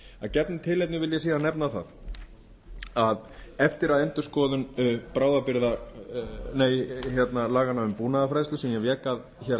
gefnu tilefni vil ég síðan nefna það að eftir að endurskoðun laganna um búnaðarfræðslu sem ég vék að hér